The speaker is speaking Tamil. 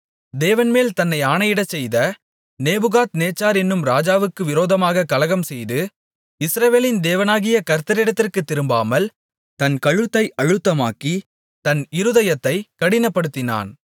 தேவன்மேல் தன்னை ஆணையிடச் செய்த நேபுகாத்நேச்சார் என்னும் ராஜாவுக்கு விரோதமாகக் கலகம்செய்து இஸ்ரவேலின் தேவனாகிய கர்த்தரிடத்திற்குத் திரும்பாமல் தன் கழுத்தை அழுத்தமாக்கி தன் இருதயத்தைக் கடினப்படுத்தினான்